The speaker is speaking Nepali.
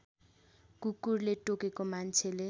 कुकुरले टोकेको मान्छेले